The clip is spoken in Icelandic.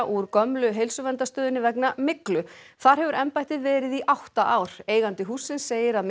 úr gömlu Heilsuverndarstöðinni vegna myglu þar hefur embættið verið í átta ár eigandi hússins segir að